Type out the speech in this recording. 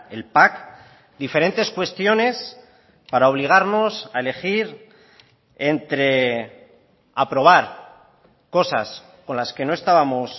el pack diferentes cuestiones para obligarnos a elegir entre aprobar cosas con las que no estábamos